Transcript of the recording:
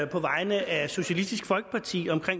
på vegne af socialistisk folkeparti om